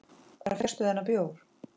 Hvar fékkstu þennan bjór?